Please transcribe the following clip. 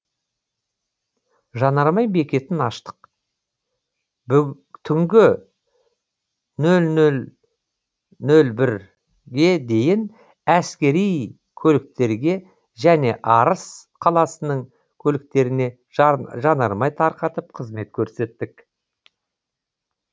жанармай бекетін аштық түнгі нөл нөл нөл бірге дейін әскери көліктерге және арыс қаласының көліктеріне жанармай тарқатып қызмет көрсеттік